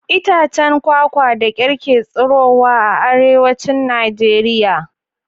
Itacen kwakwa da kyar ke tsirowa a Arewacin Najeriya